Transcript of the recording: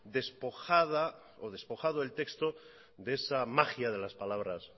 despojado el texto de esa magia de las palabras